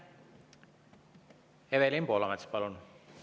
Evelin Poolamets, palun!